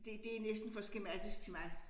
Det det næsten for skematisk til mig